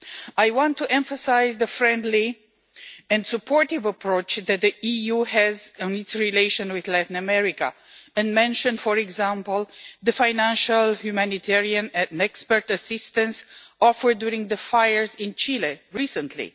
I want to emphasise the friendly and supportive approach that the EU has in its relations with Latin America and mention, for example, the financial, humanitarian and expert assistance offered during the fires in Chile recently